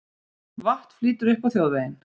Vatn flýtur upp á þjóðveginn